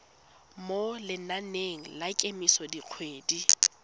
mo lenaneng la kemiso dikgwedi